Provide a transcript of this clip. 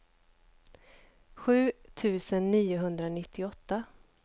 sju tusen niohundranittioåtta